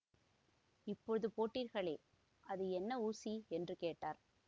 இப்போது போட்டீர்களே அது என்ன ஊசி என்று கேட்டார்